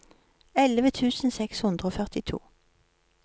elleve tusen seks hundre og førtito